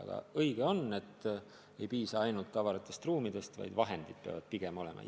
Aga on õige, et ei piisa ainult avaratest ruumidest, ka vahendid peavad olema.